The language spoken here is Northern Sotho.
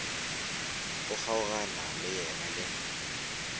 o kgaogana le yena le